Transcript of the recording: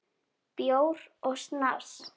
Bjór og snafs.